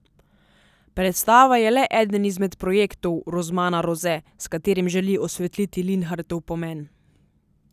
Predstava je le eden izmed projektov Rozmana Roze, s katerim želi osvetliti Linhartov pomen.